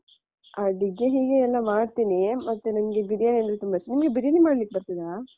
ಅಡಿಗೆ ಹೀಗೆ ಎಲ್ಲಾ ಮಾಡ್ತೀನಿ. ಮತ್ತೆ ನಂಗೆ ಬಿರಿಯಾನಿ ಅಂದ್ರೆ ತುಂಬಾ ಇಷ್ಟ. ನಿಮ್ಗೆ ಬಿರಿಯಾನಿ ಮಾಡ್ಲಿಕ್ಕೆ ಬರ್ತದಾ?